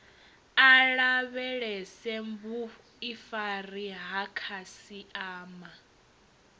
a lavhelese vhuifari ha khasiama